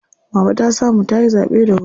Mama ta samu tayi zaɓe da wuri.